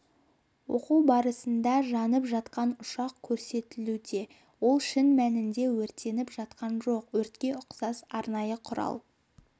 оқу барысында жанып жатқан ұшақ көрсетілуде ол шын мәнінде өртеніп жатқан жоқ өртке ұқсас арнайы құрал